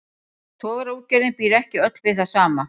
Togaraútgerðin býr ekki öll við það sama.